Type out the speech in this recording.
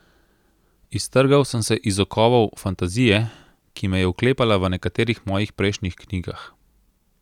Iztrgal sem se iz okovov fantazije, ki me je vklepala v nekaterih mojih prejšnjih knjigah.